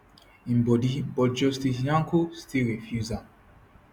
im body but justice nyako still refuse am